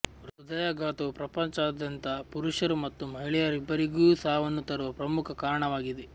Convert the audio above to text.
ಹೃದಯಾಘಾತವು ಪ್ರಪಂಚದಾದ್ಯಂತ ಪುರುಷರು ಮತ್ತು ಮಹಿಳೆಯರಿಗಿಬ್ಬರಿಗೂ ಸಾವನ್ನು ತರುವ ಪ್ರಮುಖ ಕಾರಣವಾಗಿದೆ